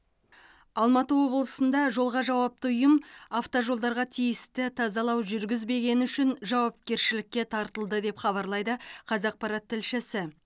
алматы облысында жолға жауапты ұйым автожолдарға тиісті тазалау жүргізбегені үшін жауапкершілікке тартылды деп хабарлайды қазақпарат тілшісі